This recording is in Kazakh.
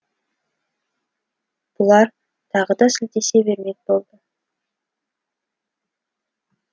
бұлар тағы да сілтесе бермек болды